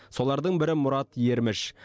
солардың бірі мұрат ерміш